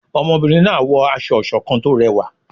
ọmọbìrin náà wọ aṣọ ìṣọ̀kan tó rẹwa